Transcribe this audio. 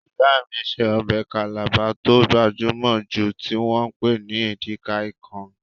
Ìyá mí ṣe ọbẹ̀ Calabar tó gbajúmọ̀ jù tí wọ́n pè ní Edika-ikong